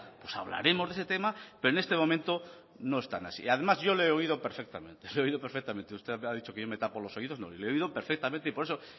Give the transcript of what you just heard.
pues hablaremos de ese tema pero en este momento no están así además yo le he oído perfectamente le he oído perfectamente usted ha dicho que yo me tapo los oídos no le he oído perfectamente y por eso